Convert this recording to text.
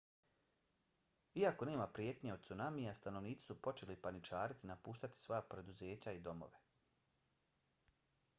iako nema prijetnje od cunamija stanovnici su počeli paničariti i napuštati svoja preduzeća i domove